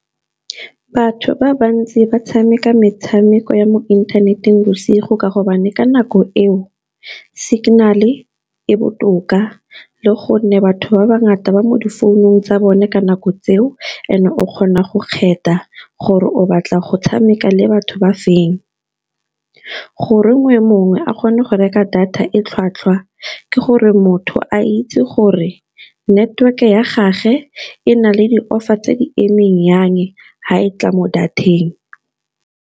Batho ba bantsi ba tshameka metshameko ya mo inthaneteng bosigo ka gobane ka nako eo signal e e botoka. Le gonne batho ba ba ngata ba mo di founung tsa bone ka nako tseo, and o kgona go kgetha gore o batla go tshameka le batho ba feng. Goreng e mongwe a kgone go reka data e tlhwatlhwa, ke gore motho a itse gore network ya gage e na le di-offer tse di emeng yang ga e tla mo data-eng.